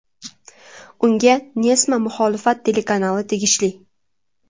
Unga Nessma muxolifat telekanali tegishli.